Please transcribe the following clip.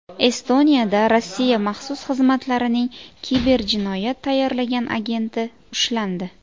Estoniyada Rossiya maxsus xizmatlarining kiberjinoyat tayyorlagan agenti ushlandi.